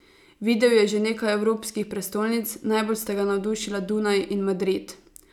Videl je že nekaj evropskih prestolnic, najbolj sta ga navdušila Dunaj in Madrid.